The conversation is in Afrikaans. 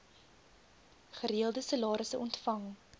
gereelde salarisse ontvang